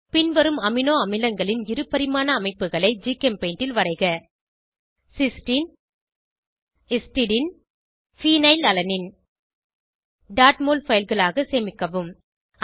பின்வரும் அமினோ அமிலங்களின் இருபரிமாண அமைப்புகளை ஜிகெம்பெய்ண்டில் வரைக சிஸ்டின் ஹிஸ்டிடின் ஃபீனைல்அலனைன் mol fileகளாக சேமிக்கவும்